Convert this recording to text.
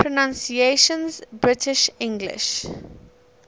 pronunciations uk english